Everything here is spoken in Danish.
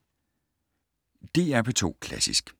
DR P2 Klassisk